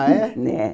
Ah, é? né